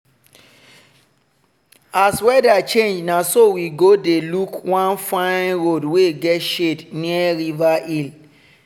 as weather change na so we go dey look one fine road wey get shade near river hill.